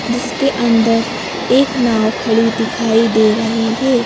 जिसके अंदर एक नाव खड़ी दिखाई दे रही है।